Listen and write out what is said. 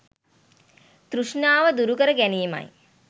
තෘෂ්ණාව දුරුකර ගැනීමයි.